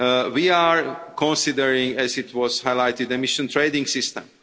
We are considering, as was highlighted, the emission trading system